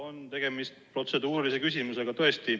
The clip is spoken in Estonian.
On tegemist tõesti protseduurilise küsimusega.